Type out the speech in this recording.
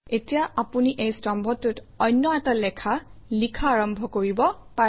এতিয়া আপুনি এই স্তম্ভটোত অন্য এটা লেখা লিখা আৰম্ভ কৰিব পাৰে